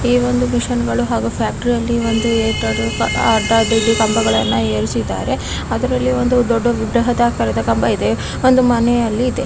ಈ ಒಂದು ಮಿಶನ್ಗಳು ಹಾಗು ಫ್ಯಾಕ್ಟರಿ ಅಲ್ಲಿ ಒಂದು ಅಡ್ಡಾದಿಡ್ಡಿ ಕಂಬಗಳನ್ನು ಏರಿಸಿದ್ದಾರೆ. ಅದರಲ್ಲಿ ಒಂದು ದೊಡ್ಡ ವಿಗ್ರಹದ ಆಕಾರದ ಕಂಬ ಇದೆ ಒಂದು ಮನೆ ಅಲ್ಲಿ ಇದೆ.